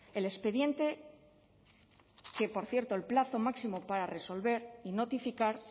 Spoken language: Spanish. el expediente que por cierto el plazo máximo para resolver y notificar